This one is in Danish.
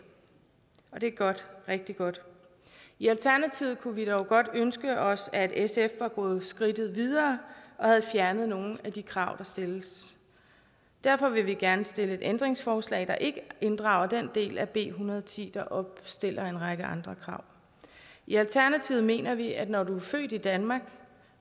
og det er godt rigtig godt i alternativet kunne vi dog godt ønske os at sf var gået skridtet videre og havde fjernet nogle af de krav der stilles derfor vil vi gerne stille et ændringsforslag der ikke inddrager den del af b en hundrede og ti der opstiller en række andre krav i alternativet mener vi at når du er født i danmark